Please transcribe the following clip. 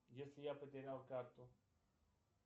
если я потерял карту